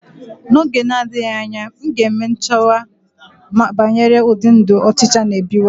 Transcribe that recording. N'oge na-adịghị anya, m ga-eme nyocha banyere ụdị ndụ ọchịcha n'ebiwa.